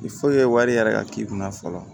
wari yɛrɛ ka k'i kunna fɔlɔ